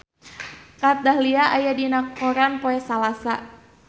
Kat Dahlia aya dina koran poe Salasa